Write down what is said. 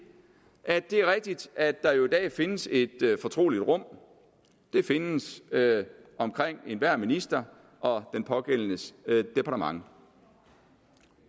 er rigtigt at der i dag findes et fortroligt rum der findes omkring enhver minister og den pågældendes departement